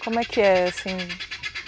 Como é que é, assim?